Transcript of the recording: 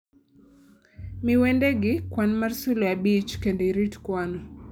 Mi wendegi kwan mar sulwe abich kendo irit kwanno